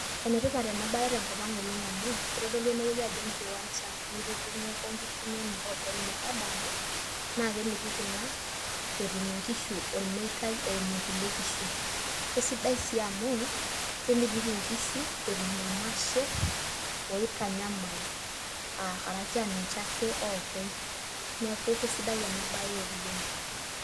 Enetipata ena baye tenkop ang' amu kitodolu enewueji ajo enkiwanja nitudung'oko nkishu inonok openy metadaare naa kemitiki ina ishu nkishu etum ormeitai eimu kulie kishu, kesidai sii amu kemitiki nkishu etum irmasherr oitanyamal aa karaki aa ninche ake oopeny neeku kesidai ena baye oleng'.